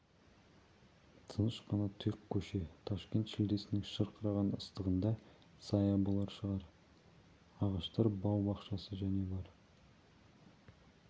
тыныш қана тұйық көше ташкент шілдесінің шырқыраған ыстығында сая болар шынар ағаштар бау-бақшасы және бар